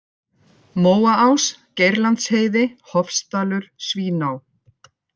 Móaás, Geirlandsheiði, Hofsdalur, Svíná